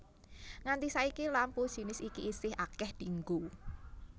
Nganti saiki lampu jinis iki isih akéh dienggo